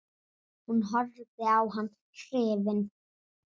Hún horfði á hann hrifin.